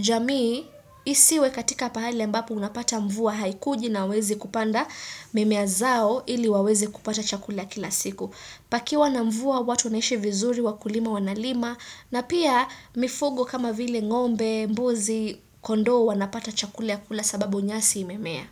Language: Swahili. jamii isiwe katika pahali ambapo unapata mvua haikuji na hawaezi kupanda mimea zao ili waweze kupata chakula. Kula kila siku. Pakiwa na mvua watu naishi vizuri, wakulima wanalima na pia mifugo kama vile ngombe, mbuzi kondoo wanapata chakula ya kula sababu nyasi imemea.